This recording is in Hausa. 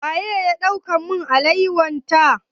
Waye ya ɗaukar min alawa ta?